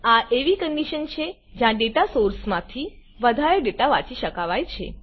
આ એવી કન્ડીશન છેજ્યાં ડેટા સોર્સ માંથી વધારે ડેટા વાંચી શકાવાય છે